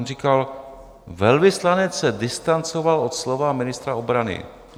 On říkal: Velvyslanec se distancoval od slova ministra obrany.